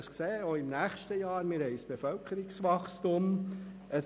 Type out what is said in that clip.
Dies auch im nächsten Jahr, denn wir weisen ein Bevölkerungswachstum auf.